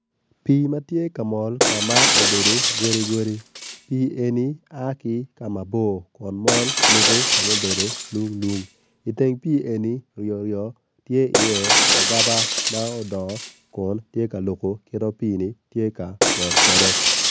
Pii matye kamol ka ma obedo gidigodi pii eni a ki ka mabor kun mol lubo kama obedo lung lung iteng pii eni ryo ryo tye i iye agaba odongo kun tye kalubo kit ma pii ni tye ka mol kwede